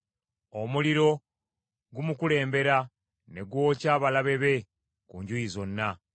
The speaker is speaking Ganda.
Omuliro gumukulembera ne gwokya abalabe be ku njuyi zonna.